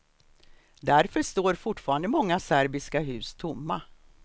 Därför står fortfarande många serbiska hus tomma.